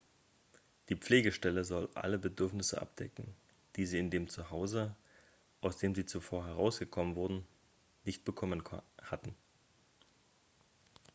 die pflegestelle soll alle bedürfnisse abdecken die sie in dem zu hause aus dem sie zuvor herausgenommen wurden nicht bekommen hatten